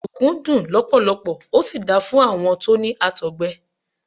Ọ̀dùnkún dùn lọpọlọpọ, ó sì da fún àwọn tó ní Àtọ̀gbẹ.